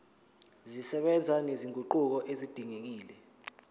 zisebenza nezinguquko ezidingekile